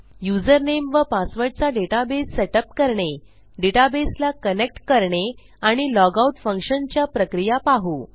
username व पासवर्डचा database setup करणे डेटाबेसला कनेक्ट करणे आणि लॉगआउट फंक्शनच्या प्रक्रिया पाहू